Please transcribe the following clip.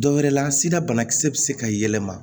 Dɔwɛrɛ la sida banakisɛ bɛ se ka yɛlɛma